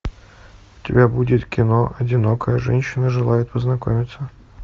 у тебя будет кино одинокая женщина желает познакомиться